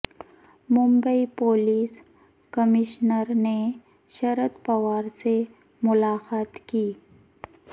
Mumbai police commissioner نے شرد پوار سے ملاقات کی